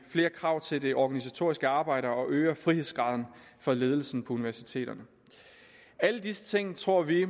flere krav til det organisatoriske arbejde og øger frihedsgraden for ledelsen på universiteterne alle disse ting tror vi